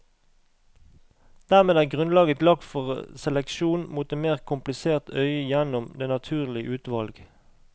Dermed er grunnlaget lagt for seleksjon mot et mer komplisert øye gjennom det naturlige utvalg.